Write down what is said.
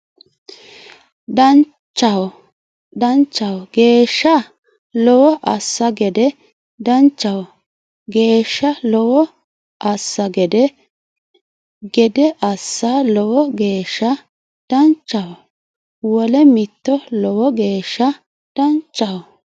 danchaho geeshsha Lowo assa gede danchaho geeshsha Lowo assa gede gede assa Lowo geeshsha danchaho wole mitto Lowo geeshsha danchaho !